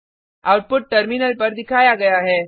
output terminal पर दिखाया गया है